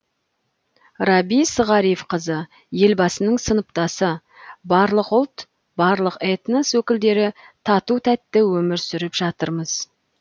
рабис ғарифқызы елбасының сыныптасы барлық ұлт барлық этнос өкілдері тату тәтті өмір сүріп жатырмыз